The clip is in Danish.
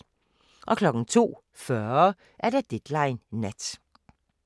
02:40: Deadline Nat